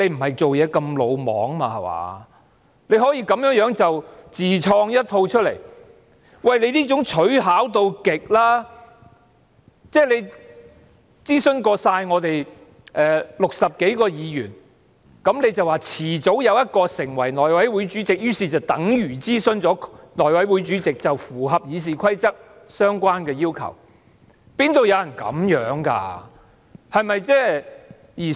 他這樣做可謂取巧至極，他認為諮詢了我們全部60多位議員，而我們遲早有一位會成為內委會主席，於是便等於諮詢了內委會主席，符合了《議事規則》的相關要求，哪會有人這樣做的呢？